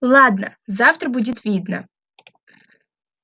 ладно завтра будет видно